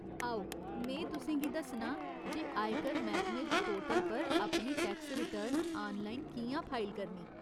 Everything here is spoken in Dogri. आओ में तुसें गी दस्सनां जे आयकर मैह्कमे दे पोर्टल पर अपनी टैक्स रिटर्न आनलाइन कि'यां फाइल करनी।